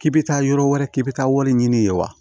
K'i bɛ taa yɔrɔ wɛrɛ k'i bɛ taa wari ɲini ye wa